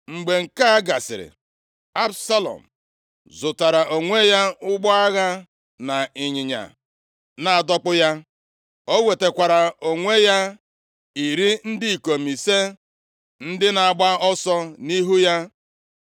Mgbe nke a gasịrị, Absalọm zụtaara onwe ya ụgbọ agha na ịnyịnya na-adọkpụ ya. O nwetakwaara onwe ya iri ndị ikom ise ndị na-agba ọsọ nʼihu ya.